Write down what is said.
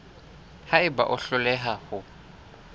ha eba o hloleha ho